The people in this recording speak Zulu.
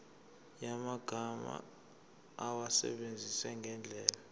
yamagama awasebenzise ngendlela